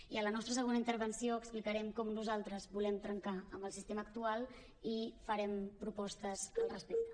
i en la nostra segona intervenció explicarem com nosaltres volem trencar amb el sistema actual i farem propostes al respecte